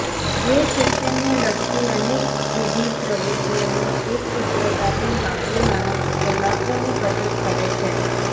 જે શિક્ષણ ને લગતી અનેકવિધ પ્રવૃતિઓને એકસુત્રતાથી સાંકળી માનવ કલાકો ની બચત કરે છે